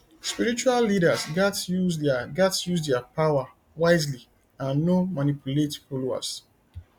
spiritual leaders gatz use their gatz use their power wisely and no manipulate followers